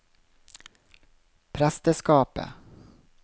presteskapet